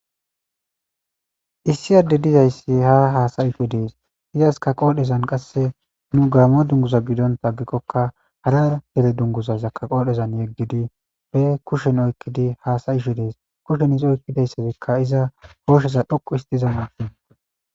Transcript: Issiyadde dizayssi haa haasayisho dees izaska qoodhezan qasse nu gaammo dunguza gidontaaggikkokka harar hele dunguzazakka qoodhezan yeggidi be kushen oykkidi haasayisho dees kushen isi oykkideyssazikka iza koosheza dhoqu histiza mae.